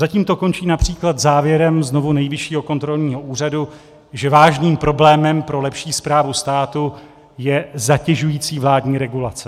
Zatím to končí například závěrem znovu Nejvyššího kontrolního úřadu, že vážným problémem pro lepší správu státu je zatěžující vládní regulace.